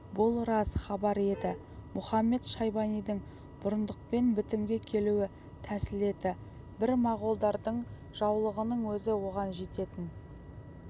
бұл рас хабар еді мұхамед-шайбанидың бұрындықпен бітімге келуі тәсіл еді бір моғолдардың жаулығының өзі оған жететін